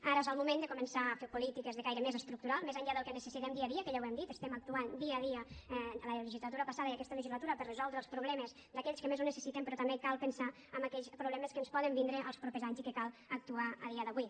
ara és el moment de començar a fer polítiques de caire més estructural més enllà del que necessitem dia a dia que ja ho hem dit estem actuant dia a dia en la legislatura passada i aquesta legislatura per a resoldre els problemes d’aquells que més ho necessiten però també cal pensar en aquells problemes que ens poden vindre els propers anys i que cal actuar a dia d’avui